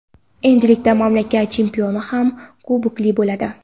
Endilikda mamlakat chempioni ham kubokli bo‘ladi.